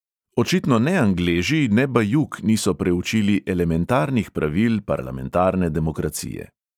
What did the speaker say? Očitno ne angleži ne bajuk niso preučili elementarnih pravil parlamentarne demokracije.